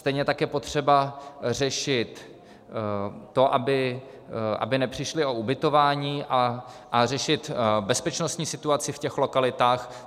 Stejně tak je potřeba řešit to, aby nepřišli o ubytování, a řešit bezpečnostní situaci v těch lokalitách.